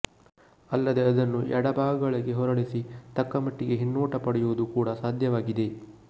ಅಲ್ಲದೆ ಅದನ್ನು ಎಡಬಲಭಾಗಗಳಿಗೆ ಹೊರಳಿಸಿ ತಕ್ಕಮಟ್ಟಿಗೆ ಹಿನ್ನೋಟ ಪಡೆಯುವುದು ಕೂಡ ಸಾಧ್ಯವಾಗಿದೆ